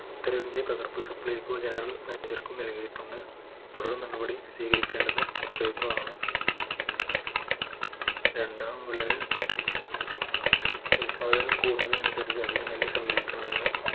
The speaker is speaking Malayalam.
ഉത്തരവിന്റെ പകർപ്പ് supplyco general manager ക്കും നൽകിയിട്ടുണ്ട് തുടർ നടപടി സ്വീകരിക്കേണ്ടതും supplyco ആണ് രണ്ടാം വിളവിൽ ഉൽപാദനം കൂടുന്നതിനനുസരിച്ച് അധികം നെല്ല് സംരംവിക്കണമെന്ന്